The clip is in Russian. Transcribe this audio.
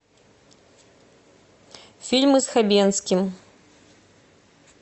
фильмы с хабенским